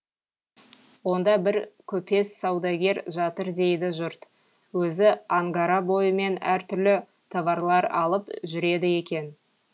онда бір көпес саудагер жатыр дейді жұрт өзі ангара бойымен әртүрлі товарлар алып жүреді екен